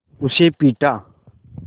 उसे पीटा